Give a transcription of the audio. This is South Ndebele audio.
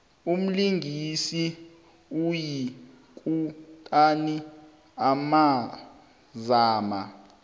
umlingisi oyikutani azama